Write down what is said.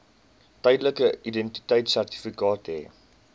tydelike identiteitsertifikaat hê